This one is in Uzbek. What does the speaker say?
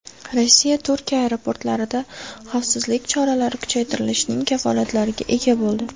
Rossiya Turkiya aeroportlarida xavfsizlik choralari kuchaytirilishining kafolatlariga ega bo‘ldi.